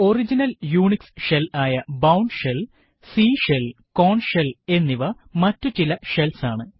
original Unix shell ആയ Bourne shell C shell Korn shell എന്നിവ മറ്റു ചില ഷെൽസ് ആണ്